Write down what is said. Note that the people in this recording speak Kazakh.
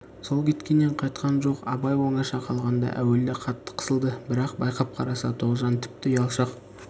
сол кеткеннен қайтқан жоқ абай оңаша қалғанда әуелде қатты қысылды бірақ байқап қараса тоғжан тіпті ұялшақ